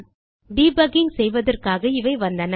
debugging செய்வதற்காக இவை வந்தன